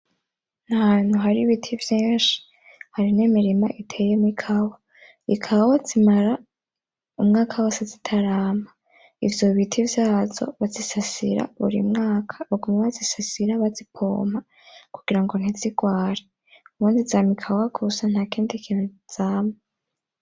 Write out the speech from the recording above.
N’ahantu hari ibiti vyinshi hari n’imirima iteyemwo ikawa. Ikawa zimara umwaka wose zitarama . Ivyo biti vyazo bazisasira buri mwaka baguma bazisasira bazipompa kugira ngo ntizirware, ubundi zama ikawa gisa nta kindi kintu zama.